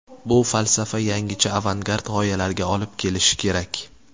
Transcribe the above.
Bu falsafa yangicha avangard g‘oyalarga olib kelishi kerak.